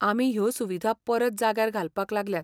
आमी ह्यो सुविधा परत जाग्यार घालपाक लागल्यात.